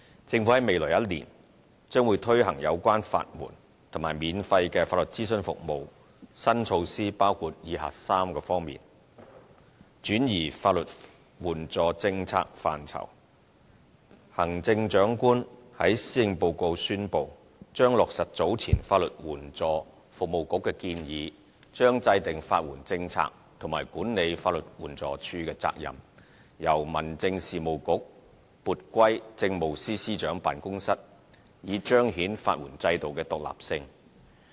政府在未來1年將推行有關法援及免費法律諮詢服務，新措施包括以下3方面：轉移法援政策範疇：行政長官在施政報告宣布，將落實早前法律援助服務局的建議，將制訂法援政策和管理法律援助署的責任，由民政事務局撥歸政務司司長辦公室，以彰顯法援制度的獨立性。